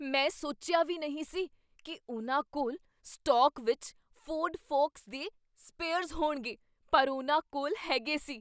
ਮੈਂ ਸੋਚਿਆ ਵੀ ਨਹੀਂ ਸੀ ਕੀ ਉਨ੍ਹਾਂ ਕੋਲ ਸਟਾਕ ਵਿੱਚ ਫੋਰਡ ਫੋਕਸ ਦੇ ਸਪੇਅਰਜ਼ ਹੋਣਗੇ, ਪਰ ਉਹਨਾਂ ਕੋਲ ਹੈਗੇ ਸੀ।